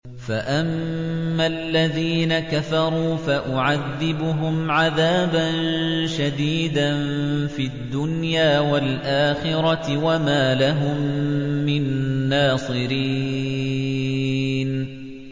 فَأَمَّا الَّذِينَ كَفَرُوا فَأُعَذِّبُهُمْ عَذَابًا شَدِيدًا فِي الدُّنْيَا وَالْآخِرَةِ وَمَا لَهُم مِّن نَّاصِرِينَ